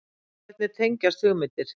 Hvernig tengjast hugmyndir?